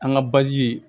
An ka ye